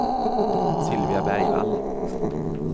Sylvia Bergvall